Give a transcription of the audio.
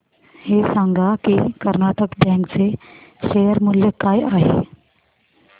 हे सांगा की कर्नाटक बँक चे शेअर मूल्य काय आहे